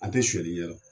An tɛ sonyali ɲɛdɔn